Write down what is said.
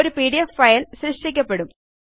ഒരു PDFഫയൽ സൃഷ്ടിക്കപ്പെടും